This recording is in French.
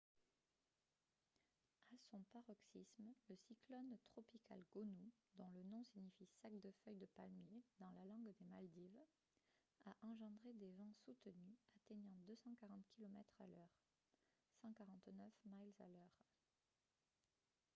à son paroxysme le cyclone tropical gonu dont le nom signifie sac de feuilles de palmier dans la langue des maldives a engendré des vents soutenus atteignant 240 kilomètres à l'heure 149 miles à l'heure